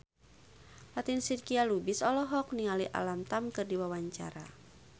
Fatin Shidqia Lubis olohok ningali Alam Tam keur diwawancara